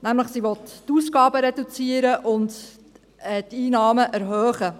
Sie will nämlich die Ausgaben reduzieren und die Einnahmen erhöhen.